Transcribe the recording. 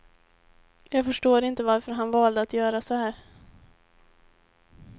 Jag förstår inte varför han valde att göra så här.